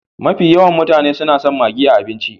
Mafi yawan mutane su na son maggi a abinci.